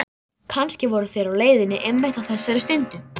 Kannski voru þeir á leiðinni einmitt á þessari stundu.